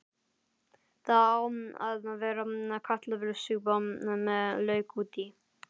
Það á að vera kartöflusúpa með lauk út í.